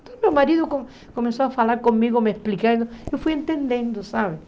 Então meu marido co começou a falar comigo, me explicando, eu fui entendendo, sabe?